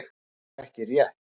Það er bara ekki rétt.